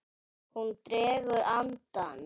Hún dregur andann.